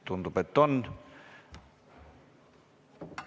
Tundub, et on.